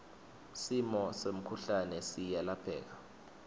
sifo semkhuhlane siyalapheka